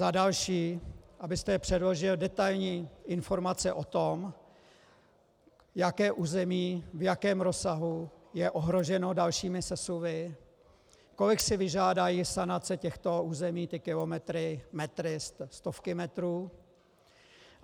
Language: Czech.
Za další, abyste předložil detailní informace o tom, jaké území, v jakém rozsahu je ohroženo dalšími sesuvy, kolik si vyžádají sanace těchto území, ty kilometry, metry, stovky metrů.